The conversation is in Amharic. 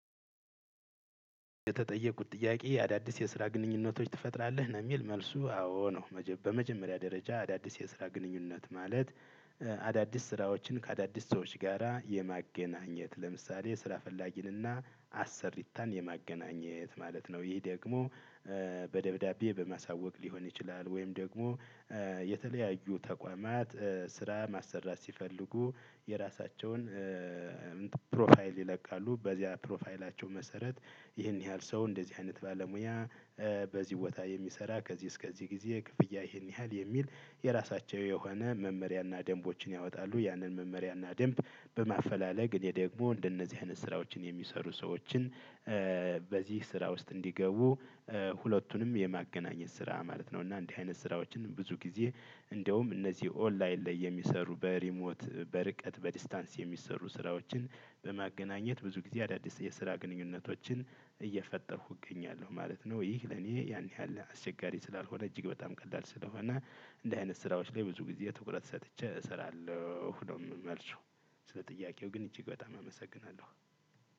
የተጠየኩት ጥያቄ አዳዲስ የስራ ግንኙነቶች ትፈጥራለህ ነው የሚል መልሱ አዎ ነው። በመጀመሪያ ደረጃ አዳዲስ የስራ ግንኙነት ማለት። አዳዲስ ስራዎችን ከአዳዲስ ሰዎች ጋራ የማገናኘት ለምሳሌ ስራ ፈላጊንና አሰሪታን የማገናኘት ማለት ነው። ይህ ደግሞ። በደብዳቤ በማሳወቅ ሊሆን ይችላል። ወይም ደግሞ የተለያዩ ተቋማት ስራ ማሰራት ሲፈልጉ። የራሳቸውን ፕሮፋይል ይለቃሉ በዚያ ፕሮፋይላቸው መሰረት ይህን ያህል ሰው እንደዚህ አይነት ባለሙያ። በዚህ ቦታ የሚሰራ ከዚህ እስከዚህ ጊዜ ክፍያ ይህን ያህል የሚል የራሳቸው የሆነ መመሪያና ደንቦችን ያወጣሉ። ያንን መመሪያና ደንብ በማፈላለግ እኔ ደግሞ እንደነዚህ አይነት ስራዎችን የሚሰሩ ሰዎችን። በዚህ ስራ ውስጥ እንዲገቡ ሁለቱንም የማገናኘት ስራ ማለት ነው። እና እንዲህ አይነት ስራዎችን ብዙ ጊዜ። እንደውም እነዚህ ኦንላይን ላይ የሚሰሩ በሪሞት በርቀት በዲስታንስ የሚሰሩ ስራዎችን በማገናኘት ብዙ ጊዜ አዳዲስ የስራ ግንኙነቶችን እየፈጠርኩ እገኛለሁ ማለት ነው። ይህ ለኔ ያን ያህል አስቸጋሪ ስላልሆነ እጅግ በጣም ቀላል ስለሆነ። እንዲህ አይነት ስራዎች ላይ ብዙ ጊዜ ትኩረት ሰጥቸ እሰራለሁ ነው መልሱ። ስለ ጥያቄው ግን እጅግ በጣም አመሰግናለሁ።